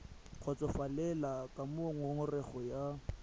kgotsofalele ka moo ngongorego ya